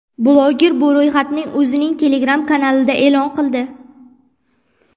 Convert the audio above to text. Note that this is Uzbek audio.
Bloger bu ro‘yxatni o‘zining Telegram-kanalida e’lon qildi.